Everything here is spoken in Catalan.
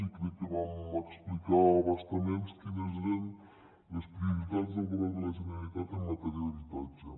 i crec que vam explicar a bastament quines eren les prioritats del govern de la generalitat en matèria d’habitatge